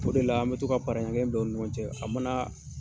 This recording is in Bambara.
O de la an bɛ to ka para ɲɛ kelen don u ni ɲɔgɔn cɛ a mana